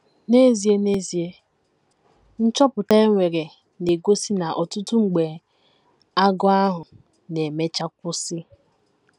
N’ezie N’ezie, nchọpụta e mere na - egosi na ọtụtụ mgbe, agụụ ahụ na - emecha kwụsị.